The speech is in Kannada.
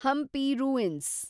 ಹಂಪಿ ರೂಯಿನ್ಸ್